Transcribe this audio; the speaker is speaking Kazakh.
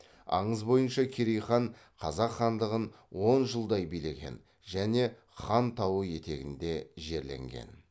аңыз бойынша керей хан қазақ хандығын он жылдай билеген және хан тауы етегінде жерленген